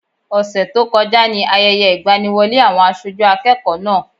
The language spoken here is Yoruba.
Ọ̀sẹ̀ tó kọjá ni Ayẹyẹ ìgbaniwọlé àwọn aṣojú akẹ́kọ̀ọ́ náà.